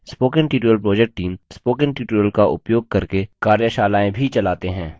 spoken tutorial project team spoken tutorial का उपयोग करके कार्यशालाएँ भी चलाते हैं